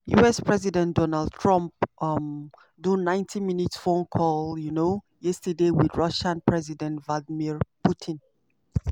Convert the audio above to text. us president donald trump um do 90-minute phone call um yesterday wit russia president vladimir putin.